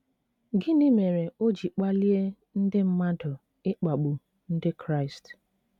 Gịnị mere o ji kpalie ndị mmadụ ịkpagbu Ndị Kraịst?